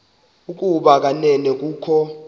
ukuba kanene kukho